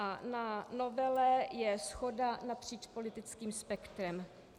A na novele je shoda napříč politickým spektrem.